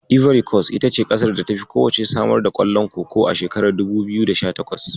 Ivory Kos ita ce ƙasar da tafi kowacce samar da ƙwallon Koko a shekarar dubu biyu da sha takwas.